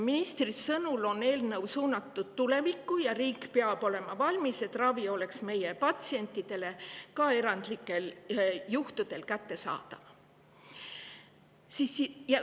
Ministri sõnul on eelnõu suunatud tulevikku ja riik peab olema valmis selleks, et ravi oleks meie patsientidele ka erandlikel juhtudel kättesaadav.